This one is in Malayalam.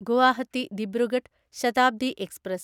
ഗുവാഹത്തി ദിബ്രുഗഡ് ശതാബ്ദി എക്സ്പ്രസ്